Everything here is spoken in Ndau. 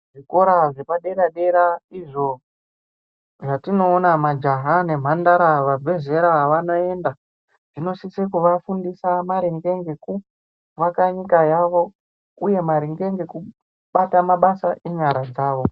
Zvikora zvepadera dera izvo zvatinoona majaha nemhandara vabve zera vanoenda, Zvinosise kuvafundisa maringe ngekuvaka nyika yavo uye maringe ngekubata mabasa enyara dzavo.